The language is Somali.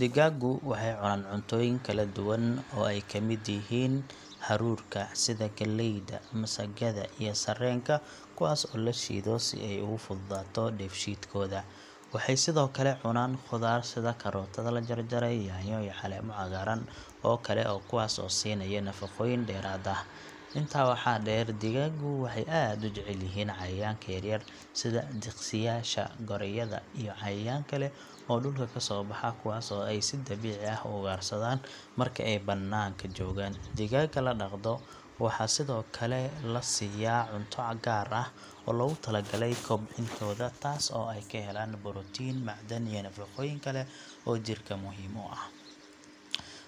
Digaagu waxay cunaan cuntooyin kala duwan oo ay ka mid yihiin hadhuudhka sida galleyda, masagada, iyo sarreenka kuwaas oo la shiido si ay ugu fududaato dheefshiidkooda. Waxay sidoo kale cunaan khudaar sida karootada la jarjaray, yaanyo, iyo caleemo cagaaran oo kale kuwaas oo siinaya nafaqooyin dheeraad ah. Intaa waxaa dheer, digaagu waxay aad u jecel yihiin cayayaanka yaryar sida diqsiyaasha, gorayada, iyo cayayaan kale oo dhulka ka soo baxa kuwaas oo ay si dabiici ah u ugaarsadaan marka ay bannaanka joogaan. Digaaga la dhaqdo waxaa sidoo kale la siiyaa cunto gaar ah oo loogu tala galay kobcintooda taasoo ay ka helaan borotiin, macdan iyo nafaqooyin kale oo jirka muhiim u ah.